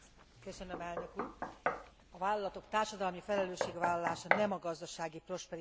A vállalatok társadalmi felelősségvállalása nem a gazdasági prosperitás időszakának luxusa.